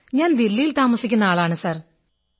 ഞാൻ ദില്ലിയിൽ താമസിക്കുന്ന ആളാണു സർ